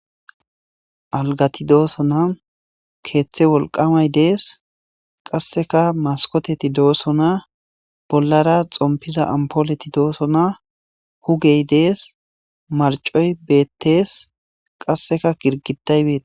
algati dooso na keeththe wolqamay dees qasseka maskoteti dooso na bollara xompiza ampooleti doosona hugey dees marcoy bettees qasseka girgitaybeta